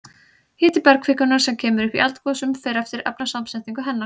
Hiti bergkvikunnar sem kemur upp í eldgosum fer eftir efnasamsetningu hennar.